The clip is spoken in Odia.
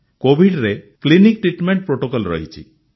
କୋଭିଡ୍ରେ କ୍ଲିନିକ୍ ଟ୍ରିଟମେଣ୍ଟ ପ୍ରୋଟୋକଲ୍ ରହିଛି